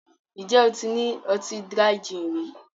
Ǹjẹ́ o ti ní ọtí Dry gin rí